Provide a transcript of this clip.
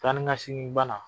Taanikasegin bana